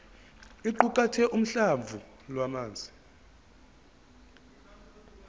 iqukathe uhlamvu lwamazwi